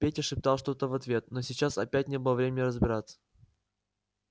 петя шептал что-то в ответ но сейчас опять не было времени разбираться